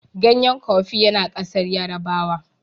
ganyen kofi ya na kasar yarabawa